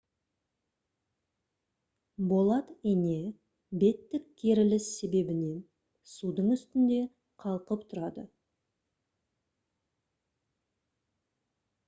болат ине беттік керіліс себебінен судың үстінде қалқып тұрады